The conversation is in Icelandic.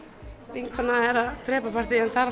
vinkona er að drepa partíið en það